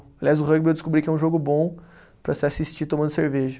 Aliás, o rugby eu descobri que é um jogo bom para se assistir tomando cerveja.